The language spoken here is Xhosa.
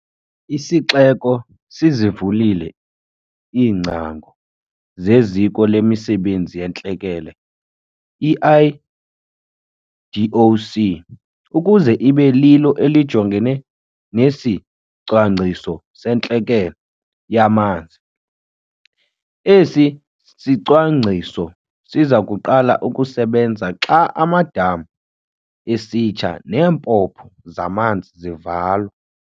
Isixeko sizivulile iingcango zeZiko lemiSebenzi yeeNtlekele, i-IDOC, ukuze ibe lilo elijongene nesiCwangciso seNtlekele yaManzi. Esi sicwangciso siza kuqala ukusebenza xa amadama esitsha neempompo zamanzi zivalwa.